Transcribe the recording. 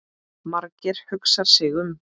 Margeir hugsar sig um.